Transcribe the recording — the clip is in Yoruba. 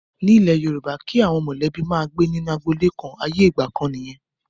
Ní ilẹ̀ Yorùbá, kí àwọn mọ̀lẹ́bí máa gbé nínú agboolé kan, ayé ìgbà kan nìyẹn.